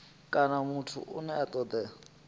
kana muthu ane a toda